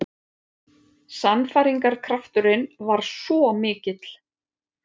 Sannfæringarkrafturinn var svo mikill.